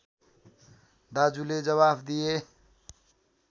दाजुले जवाफ दिए